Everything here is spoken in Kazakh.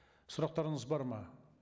сұрақтарыңыз бар ма